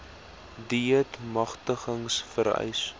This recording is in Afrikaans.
deat magtiging vereis